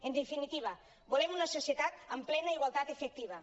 en definitiva volem una societat amb plena igualtat efectiva